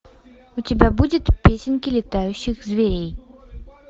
у тебя будет песенки летающий зверей